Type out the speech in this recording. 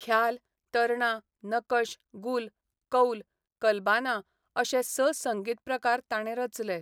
ख्याल, तरणा, नकश, गुल, कौल, कल्बाना अशे स संगीत प्रकार ताणें रचले.